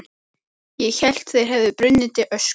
Ég hélt þeir hefðu brunnið til ösku.